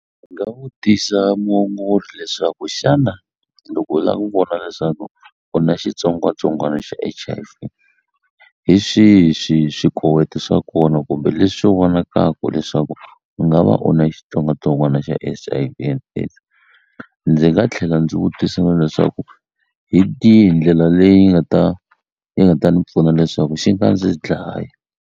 Ndzi nga vutisa muongori leswaku xana loko u la ku vona leswaku u na xitsongwatsongwana xa H_I_V hi swihi swikoweto swa kona kumbe leswi vonakaku leswi leswaku u nga va u na xitsongwatsongwana xa H_I_V and AIDS ndzi nga tlhela ndzi vutisa na leswaku hi tihi ndlela leyi nga ta yi nga ta ni pfuna leswaku xi nga ndzi dlayi.